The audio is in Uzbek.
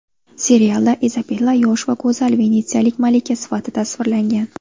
Serialda Izabella yosh va go‘zal venetsiyalik malika sifatida tasvirlangan.